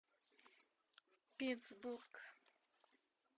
питтсбург